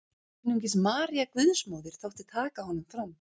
Einungis María Guðsmóðir þótti taka honum fram.